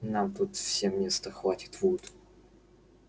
нам тут всем места хватит вуд